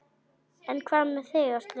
En hvað með þig Áslaug?